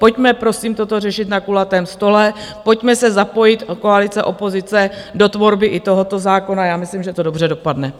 Pojďme, prosím, toto řešit na kulatém stole, pojďme se zapojit - koalice, opozice - do tvorby i tohoto zákona, já myslím, že to dobře dopadne.